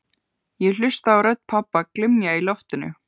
Ég hlusta á rödd pabba glymja í loftinu